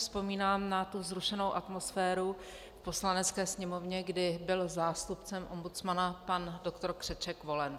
Vzpomínám si na vzrušenou atmosféru v Poslanecké sněmovně, kdy byl zástupcem ombudsmana pan doktor Křeček volen.